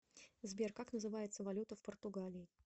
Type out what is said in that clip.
сбер как называется валюта в португалии